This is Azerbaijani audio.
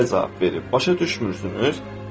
Cüneyd belə cavab verib: Başa düşmürsünüz?